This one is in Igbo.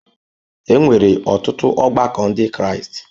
E nwere ọtụtụ ọgbakọ Ndị Kraịst.